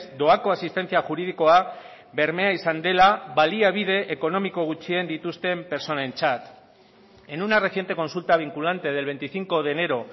doako asistentzia juridikoa bermea izan dela baliabide ekonomiko gutxien dituzten pertsonentzat en una reciente consulta vinculante del veinticinco de enero